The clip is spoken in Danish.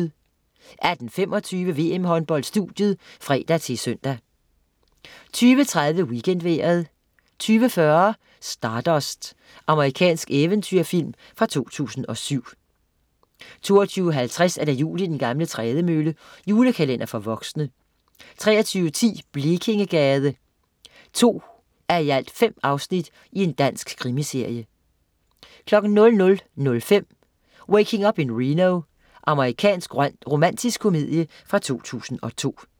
18.25 VM-Håndbold: Studiet (fre-søn) 20.30 WeekendVejret 20.40 Stardust. Amerikansk eventyrfilm fra 2007 22.50 Jul i den gamle trædemølle. Julekalender for voksne 23.10 Blekingegade. 2:5 Dansk krimiserie 00.05 Waking Up in Reno. Amerikansk romantisk komedie fra 2002